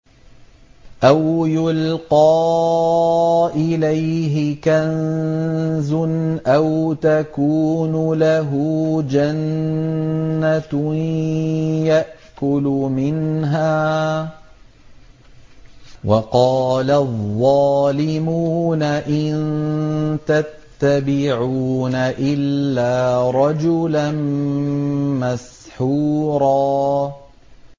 أَوْ يُلْقَىٰ إِلَيْهِ كَنزٌ أَوْ تَكُونُ لَهُ جَنَّةٌ يَأْكُلُ مِنْهَا ۚ وَقَالَ الظَّالِمُونَ إِن تَتَّبِعُونَ إِلَّا رَجُلًا مَّسْحُورًا